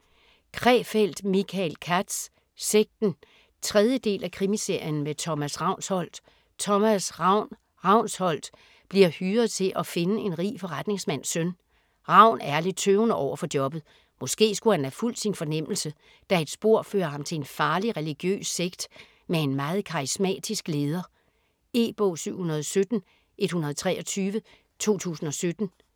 Krefeld, Michael Katz: Sekten 3. del af Krimiserien med Thomas Ravnsholdt. Thomas "Ravn" Ravnsholdt bliver hyret til at finde en rig forretningsmands søn. Ravn er lidt tøvende overfor jobbet. Måske skulle han have fulgt sin fornemmelse, da et spor fører ham til en farlig religiøs sekt med en meget karismatisk leder. E-bog 717123 2017.